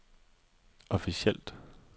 officielt